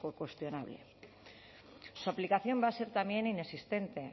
que cuestionable su aplicación va a ser también inexistente